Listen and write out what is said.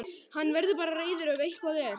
Hann verður bara reiður ef eitthvað er.